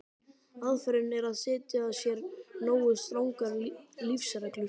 Aðferðin er að setja sér nógu strangar lífsreglur.